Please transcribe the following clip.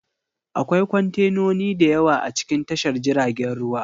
Akwai kwantenoni da yawa a cikin tashar jiragen ruwa